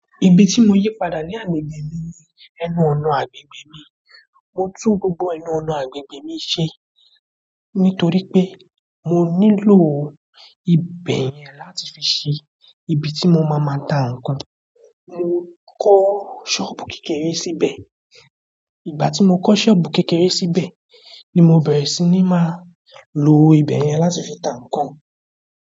Ibi tí mo yí padà ní agbègbè mi ni ẹnu ọ̀nà àgbègbè mi. Mo tún gbogbo ẹnu ọ̀nà àgbègbè mi ṣe nítorí pé mo nílò ibé yẹn láti fi ṣe ibi tí mo máa máa tá ǹkan. Mo kọ́ sọ́ọ̀bù kékeré síbẹ̀. Ìgbà tí mo kọ́ sọ́ọ̀bù kékeré síbẹ̀ ni mo bẹ̀rẹ̀ sí ní máa lo ibẹ̀ yẹn láti fi tá ǹkan.